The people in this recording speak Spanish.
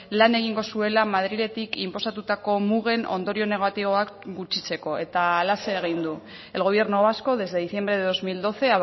lan egingo zuela madriletik inposatutako mugen ondorio negatiboak gutxitzeko eta halaxe egin du el gobierno vasco desde diciembre de dos mil doce